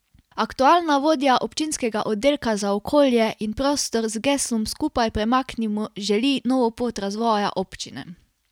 Aktualna vodja občinskega oddelka za okolje in prostor z geslom Skupaj premaknimo želi novo pot razvoja občine.